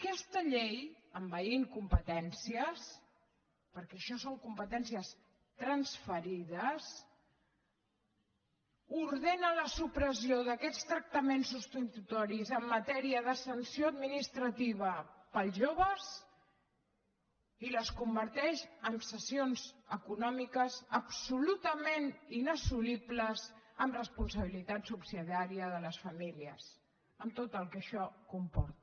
aquesta llei envaint competències perquè això són competències transferides ordena la supressió d’aquests tractaments substitutoris en matèria de sanció administrativa pels joves i els converteix en sancions econòmiques absolutament inassolibles amb responsabilitat subsidiària de les famílies amb tot el que això comporta